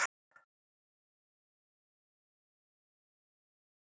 Tiltók efni þeirra og nefndi nafn þitt.